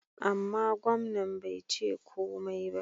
Amma, gwamnan bai ce komai ba.